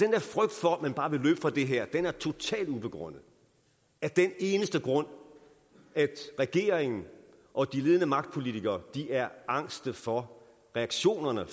her frygt for at man bare vil løbe fra det her er totalt ubegrundet af den eneste grund at regeringen og de ledende magtpolitikere er angste for reaktionerne